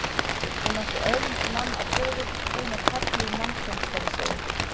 Hún átti öðlingsmann að föður, hreina perlu í mannsmynd, skal ég segja ykkur.